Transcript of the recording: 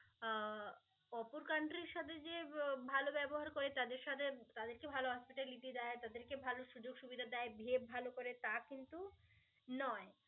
আহ অপর country র সাথে যে ভালো ব্যবহার করে, তাদের সাথে তাদেরকে ভালো hospitality দেয়, তাদেরকে ভালো সুযোগ সুবিধা দেয়, behave ভালো করে. তা কিন্তু নয়